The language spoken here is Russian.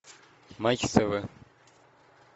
матч тв